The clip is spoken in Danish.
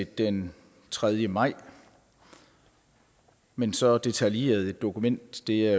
den tredje maj men så detaljeret et dokument er